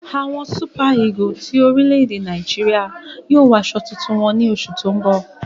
Awọn Súpà-ígù ti orílẹ̀-èdè Nàìjíríà yóò wọ àsọ̀ tuntun wọn ní òṣù tó n bọ